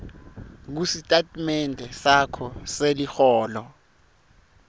kusitatimende sakho seliholo